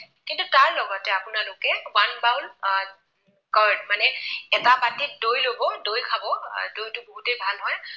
আপোনালোকে। one bowl curd মানে এটা বাতিত দৈ লব, দৈ খাব আৰু সেইটোতো বহুতেই ভাল হয়